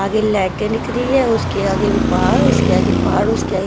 आगे लाइटें दिख रही है उसके आगे भी पहाड़ उसके आगे पहाड़ उसके आगे --